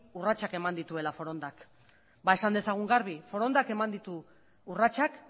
urratsak eman dituela forondak ba esan dezagun gabe forondak eman ditu urratsak